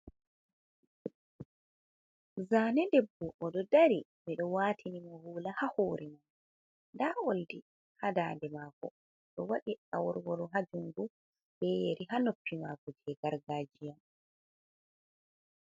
Zaane debbo oɗo dari. Ɓe ɗo waatini mo hula haa hore. Nda oldi haa dande maako, oɗo waɗi aworworo haa jungo, ɓe yeri haa noppi maako, je gargajiya.